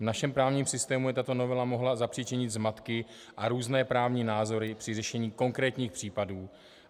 V našem právním systému by tato novela mohla zapříčinit zmatky a různé právní názory při řešení konkrétních případů.